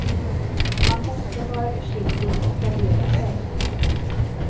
Man måste vara försiktig och gardera sig.